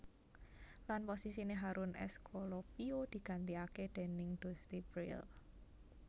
Lan posisiné Harun Escolopio digantikaké déning Dusty Brill